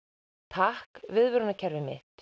takk viðvörunarkerfið mitt